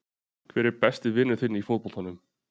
Hver er besti vinur þinn í fótboltanum?